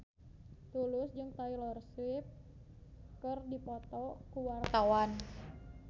Tulus jeung Taylor Swift keur dipoto ku wartawan